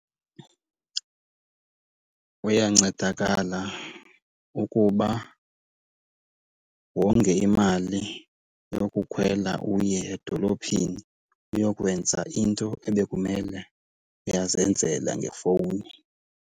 Uyancedakala ukuba wonge imali yokukhwela uye edolophini, uyokwenza into ebekumele uyazenzela ngefowuni.